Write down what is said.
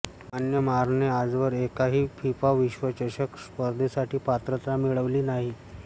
म्यानमारने आजवर एकाही फिफा विश्वचषक स्पर्धेसाठी पात्रता मिळवलेली नाही